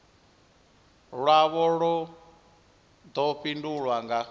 lwavho lu ḓo fhindulwa nga